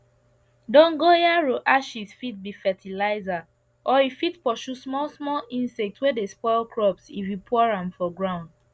dongoyaro ashes fit be fertilser or e e fit pursue small small insect wey dey spoil crops if you pour am for ground